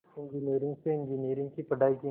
engineering से engineering की पढ़ाई की